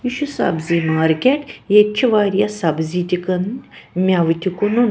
یہِ چُھ سبزی مارکیٹ .ییٚتہِ چھ واریاہ سبزی تہِ کٔنٕنۍمٮ۪وتہِ کٔنُن